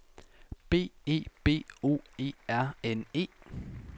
B E B O E R N E